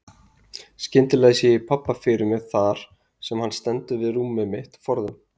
Skyndilega sé ég pabba fyrir mér þar sem hann stendur við rúmið mitt forðum.